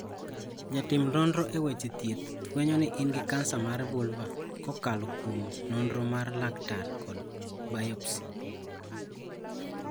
Jatim nonro e weche thieth fwenyo ni in gi kansa mar vulva kokalo kuom nonro mar laktar kod biopsy.